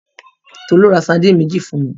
Tolú ra sardine méjì fún mi.